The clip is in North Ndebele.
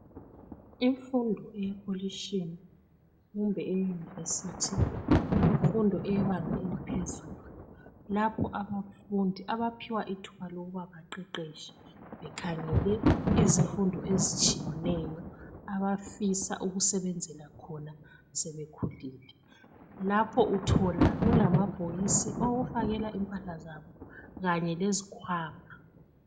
imfundo yekolitshini kumbe e university yimfundo eyebanga eliphezulu lapho abafundi abaphiwa ithuba lokuba baqeqetshe bekhangele izifundo ezitshiyeneyo abafisa ukusebenzela khona sebekhulile lapho uthola kulabhokisi okufakela impahla zabo kanye lezikhwama